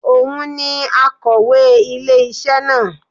Òun ni akọ̀wé ilé isé na